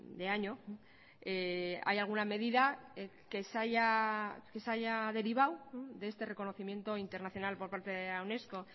de año hay alguna medida que se haya derivado de este reconocimiento internacional por parte de la unesco